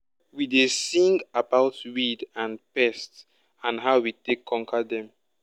we dey sing about weed and pest and how we take conquer dem.